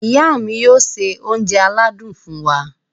Ìyá mi yóò ṣe oúnjẹ aládùn fún wa.